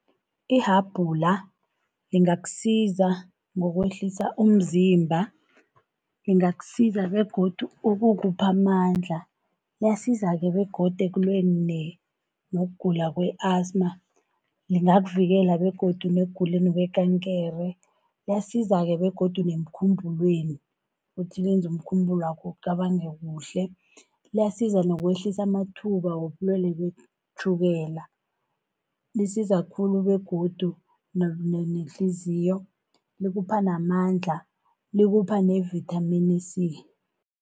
Ihabhula lingakusiza ngokwehlisa umzimba, lingakusiza begodu ukukupha amandla. Liyasiza-ke begodu ekulweni nokugula kwe-asthma, lingakuvikela begodu nekuguleni kwekankere. Liyasiza-ke begodu nemkhumbulweni, ukuthi lenze umkhumbulo wakho ucabange kuhle. Liyasiza nokwehlisa amathuba wobulwele betjhukela, lisiza khulu begodu nehliziyo likupha namandla, likupha nevithamini C.